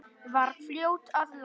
Var fljót að læra.